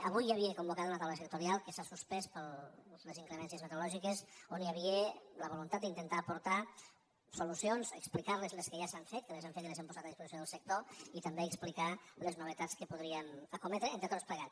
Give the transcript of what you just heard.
avui hi havia convocada una taula sectorial que s’ha suspès per les inclemències meteorològiques on hi havia la voluntat d’intentar aportar solucions explicar les que ja s’han fet que les hem fetes i les hem posades a disposició del sector i també explicar les novetats que podríem escometre entre tots plegats